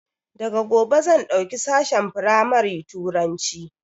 Daga gobe zan ɗauki sashen firamari Turanci